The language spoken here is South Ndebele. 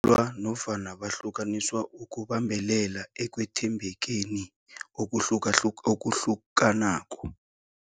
Badatjulwa nofana bahlukaniswa ukubambelela ekwethembekeni okuhlukanako